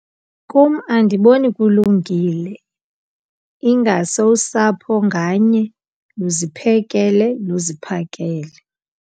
Kum andiboni kulungile ingase usapho nganye luziphekele, luziphakele.